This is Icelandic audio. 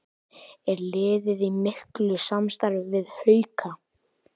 Er liðið í miklu samstarfi við Hauka?